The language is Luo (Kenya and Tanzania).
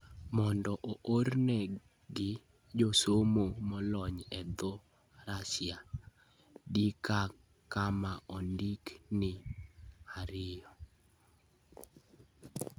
Mondo oornegi josomo molony e dho Russia, di kama ondik ni 2.